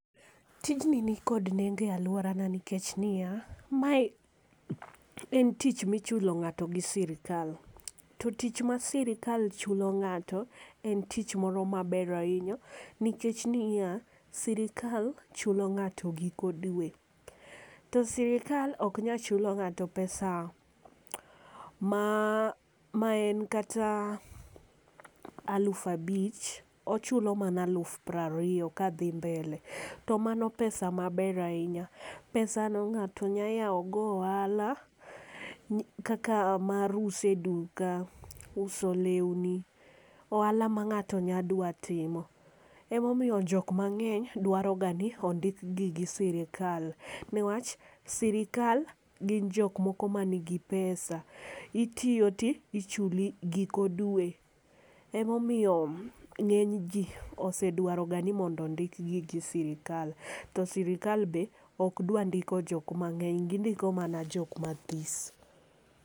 Tijni ni kod nengo e aluora nikech ni ya, ma en tich mi ichulo ng'ato gi sirkal to tich ma sirkal chulo ng'ato ,en tich ma ber ainya. Nikech ni ya sirkal chulo giko dwe, to sirkal ok nyal chulo ng'ato pesa ma en kata aluf abich ochulo mana aluf piero ariyo ka dhi mbele .To mano pesa ma ber ainya. Pesa no ng'ato nya yawo go ohala kaka mar uso e duka uso lewni ohala ma ng'ato nya dwa timo. Ema omiyo ng'ato mangeny dwa ga ni ondik gi gi sirkal ne wach sirkal gin jok moko man gi pesa itiyo ti ichuli giko dwe ema omiyo ng'eny ji osedwaroga ni ondik gi gi siirkal. To sirkal be ok dwa ndiko jok mangeny gi ndiko mana jok ma this.